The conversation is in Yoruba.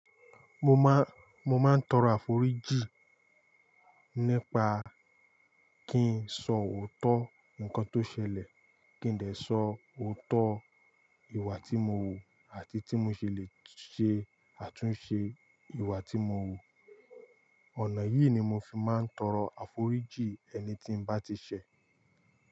Mo má, mo máa ń tọrọ àforíjì nípa kí n sọ òótọ́ nǹkan tó ṣẹlẹ̀, kí n dẹ sọ òótọ́ ìwà tí mo wù àti tí mo ṣe lè ṣe àtúnṣe ìwà tí mo wù. Ọ̀nà yìí ni mo fi máa ń tọrọ àforíjì ẹni tí n bá ti ṣẹ̀.